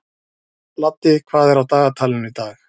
Laddi, hvað er á dagatalinu í dag?